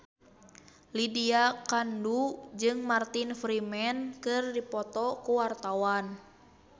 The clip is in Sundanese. Lydia Kandou jeung Martin Freeman keur dipoto ku wartawan